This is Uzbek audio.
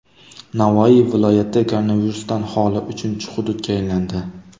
Navoiy viloyati koronavirusdan xoli uchinchi hududga aylandi.